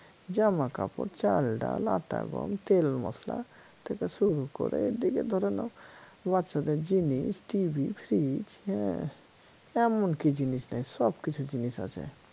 জামা কাপড় চালডাল আটা গম তেল মসলা থেকে ‍শুরু করে এদিকে ধরে নাও বাচ্চাদের জিনিস TV fridge হ্যা এমন কি জিনিস নাই সব কিছু জিনিস আছে